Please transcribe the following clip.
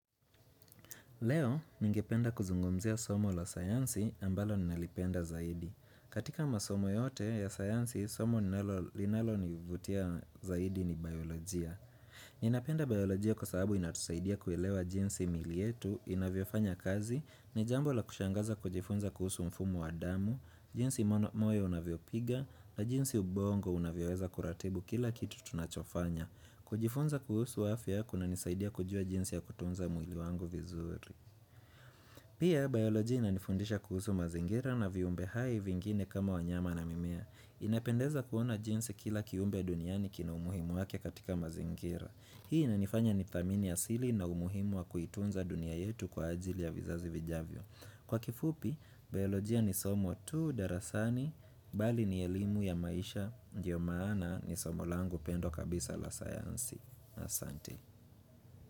Leo, ningependa kuzungumzia somo la sayansi ambalo ninalipenda zaidi. Katika masomo yote ya sayansi, somo ninalo linalonivutia zaidi ni biolojia. Ninapenda biolojia kwa sababu inatusaidia kuelewa jinsi miili yetu inavyofanya kazi, ni jambo la kushangaza kujifunza kuhusu mfumo wa damu, jinsi moyo unavyopiga, na jinsi ubongo unavyoweza kuratibu kila kitu tunachofanya. Kujifunza kuhusu afya kunanisaidia kujua jinsi ya kutunza mwili wangu vizuri. Pia, biologia inanifundisha kuhusu mazingira na viumbe hai vingine kama wanyama na mimea inapendeza kuona jinsi kila kiumbe ya duniani kina umuhimu wake katika mazingira. Hii inanifanya nithamini asili na umuhimu wa kuitunza dunia yetu kwa ajili ya vizazi vijavyo Kwa kifupi, biologia ni somo tu darasani, bali ni elimu ya maisha, ndiyo maana ni somo langu pendwa kabisa la sayansi Asante.